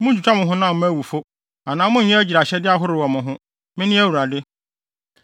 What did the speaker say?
“ ‘Munntwitwa mo honam mma awufo anaa monnyɛ agyiraehyɛde ahorow wɔ mo ho. Mene Awurade.